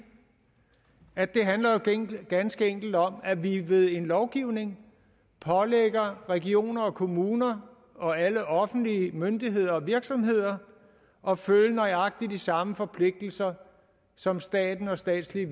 at det ganske enkelt handler om at vi ved en lovgivning pålægger regioner og kommuner og alle offentlige myndigheder og virksomheder at følge nøjagtig de samme forpligtelser som staten og statslige